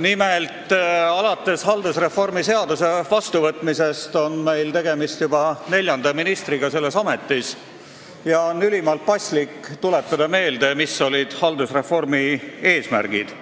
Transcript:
Nimelt, alates haldusreformi seaduse vastuvõtmisest on juba neljas minister selles ametis ja on ülimalt paslik tuletada meelde, mis olid haldusreformi eesmärgid: